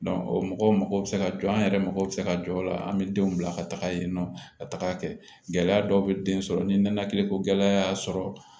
o mɔgɔw mago bɛ se ka jɔ an yɛrɛ mako bɛ se ka jɔ o la an bɛ denw bila ka taga yen nɔ ka taga kɛ gɛlɛya dɔw bɛ den sɔrɔ ni nɛnɛkiliko gɛlɛya y'a sɔrɔ